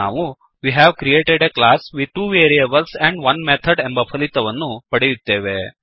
ನಾವು we have created a class with 2 variables and 1 method ಎಂಬ ಫಲಿತವನ್ನು ಪಡೆಯುತ್ತೇವೆ